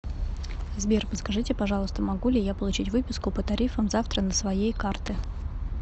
сбер подскажите пожалуйста могу ли я получить выписку по тарифам завтра на своей карты